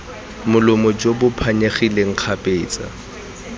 molomo jo bo phanyegileng kgapetsa